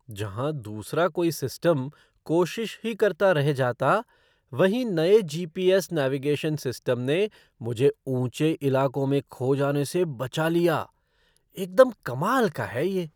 जहाँ दूसरा कोई सिस्टम कोशिश ही करता रह जाता, वहीं नए जी.पी. एस. नेविगेशन सिस्टम ने मुझे ऊंचे इलाकों में खो जाने से बचा लिया। एकदम कमाल का है ये!